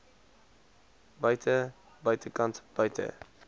buite buitekant buite